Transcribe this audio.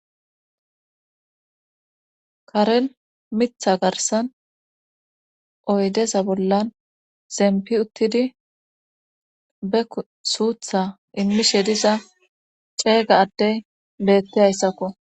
Karel mitha garsan oydeza bollan zempi uttidi be suutha immishe diza ceega addey beetti hayssakko.